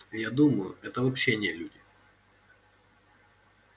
я думаю это вообще нелюди